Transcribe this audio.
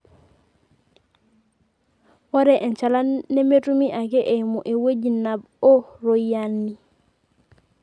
ore enchalan nemetumi ake eimu ewueji nab oo roiyiani